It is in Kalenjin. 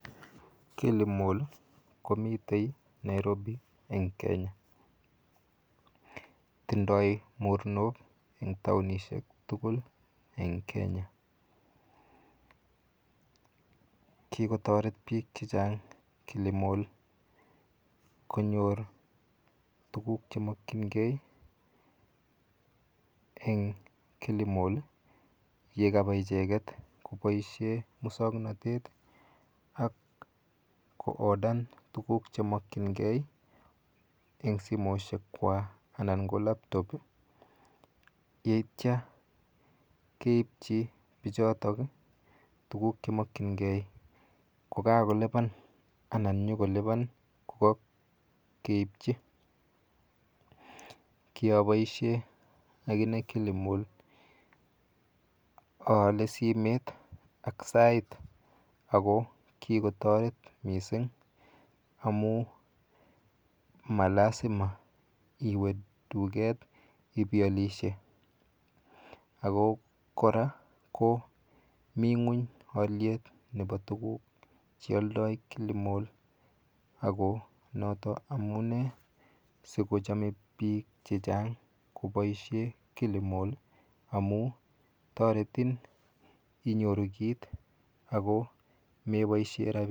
Kilimall komite nairobi eng Kenya. Tindoi mornok eng taonishek tugul eng Kenya. Kikotoret biik chechang Kilimall konyor tuguk chemokhingei eng Kilimall yekapa icheket koboishe musoknotet akoodan tuguk chemokchingei eng simoshekwa anan ko laptop yeityo keipchi bichotok tuguk chemokchingei kokakolipan anan nyokolipan kokakeipchi. Kiaboishe akine Kilimall aale simet ak sait ako kikotoret mising amu ma lasima iwe duket ipialishe ako kora komi ng'uny alyet nepo tuguk chealdoi Kilimall ako noto amune sikochome biik chechang koboishe Kilimall amu toretin inyoru kit ako meboishe rabiinik...